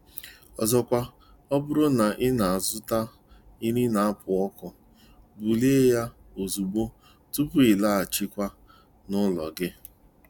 Ọzọkwa, ọ bụrụ na ị na-azụta nri na-apu ọkụ, bulie ya ozugbo tupu ịlaghachiwa n'ụlọ gi